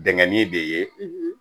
Dingɛnnin de ye